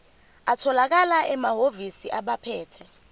atholakala emahhovisi abaphethe